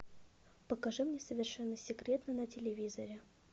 покажи мне совершенно секретно на телевизоре